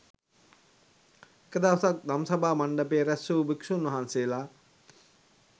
එක දවසක් දම්සභා මණ්ඩපයේ රැස් වූ භික්ෂූන් වහන්සේලා